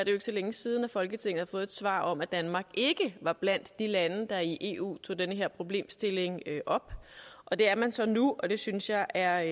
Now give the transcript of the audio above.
jo ikke så længe siden at folketinget har fået et svar om at danmark ikke var blandt de lande der i eu tog den her problemstilling op og det er man så nu og det synes jeg er